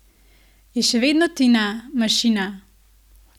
Je še vedno Tina, mašina?